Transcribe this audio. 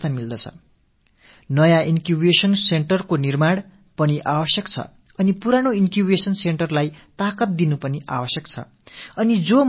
புதிய ஆக்க மையத்தை நிறுவுவதென்பது அவசியமான அதே வேளையில் பழைய மையங்களுக்கு வலுவூட்டுவதும் முக்கியமான ஒன்று